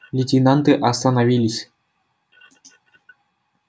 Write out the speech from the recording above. лейтенанты остановились